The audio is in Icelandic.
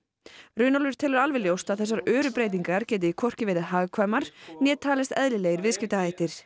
Runólfur telur alveg ljóst að þessar öru breytingar geti hvorki verið hagkvæmar né talist eðlilegir viðskiptahættir